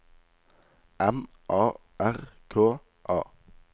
M A R K A